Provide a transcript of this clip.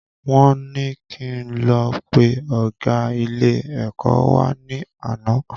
Wọ́n ní kí n lọ pe ọgá ilé ẹ̀kọ́ wa ní àná